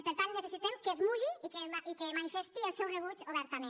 per tant necessitem que es mulli i que manifesti el seu rebuig obertament